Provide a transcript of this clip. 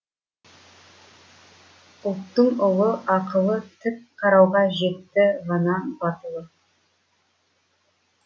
ұлттың ұлы ақылы тік қарауға жетті ғана батылы